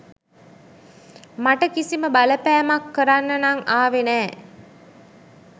මට කිසිම බලපෑමක් කරන්න නං ආවෙ නෑ.